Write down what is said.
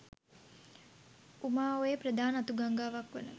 උමා ඔයේ ප්‍රධාන අතු ගංගාවක් වන